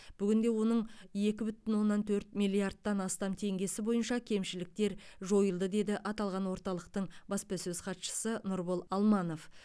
бүгінде оның екі бүтін оннан төрт миллиардтан астам теңгесі бойынша кемшіліктер жойылды деді аталған орталықтың баспасөз хатшысы нұрбол алманов